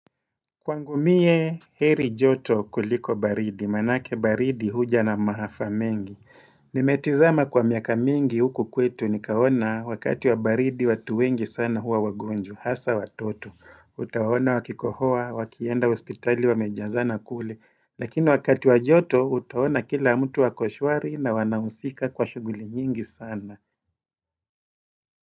Kwangu mie heri joto kuliko baridi, maanake baridi huja na maafa mengi. Nimetizama kwa miaka mingi huku kwetu nikaona wakati wa baridi watu wengi sana hua wagonjwa, hasa watoto. Utaona wakikohoa, wakienda hospitali wamejazana kule. Lakini wakati wa joto utaona kila mtu ako shwari na wanahusika kwa shughuli nyingi sana.